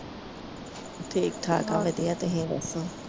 ਠੀਕ ਠਾਕ ਆ ਵਧੀਆ। ਤੁਸੀ ਦਸੋ?